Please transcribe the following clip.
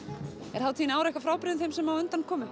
er hátíðin í ár eitthvað frábrugðin þeim sem á undan komu